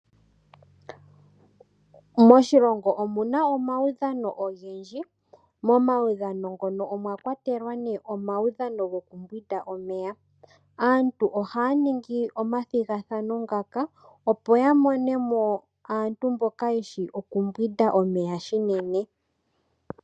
Moshilongo omuna omawudhano ogendji momawudhano ngono omwa kwatelwa ne omawudhano gokumbwinda omeya. Aantu ohaya ningi omathigathano ngaka opo ya monemo aantu mboka yeshi oku mbwinda omeya shinene.